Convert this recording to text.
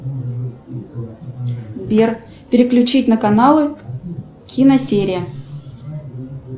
сбер переключить на каналы киносерия